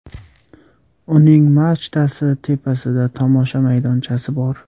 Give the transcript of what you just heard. Uning machtasi tepasida tomosha maydonchasi bor.